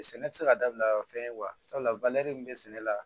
Sɛnɛ tɛ se ka dabila o fɛn ye wa sabula min bɛ sɛnɛ la